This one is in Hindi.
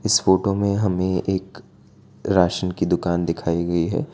इस फोटो में हमें एक राशन की दुकान दिखाई गई है।